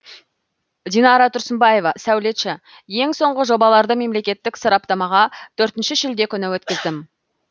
динара тұрсынбаева сәулетші ең соңғы жобаларды мемлекеттік сараптамаға төртінші шілде күні өткіздім